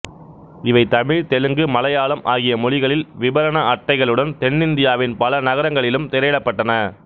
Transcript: இவை தமிழ் தெலுங்கு மலையாளம் ஆகிய மொழிகளில் விபரண அட்டைகளுடன் தென்னிந்தியாவின் பல நகரங்களிலும் திரையிடப்பட்டன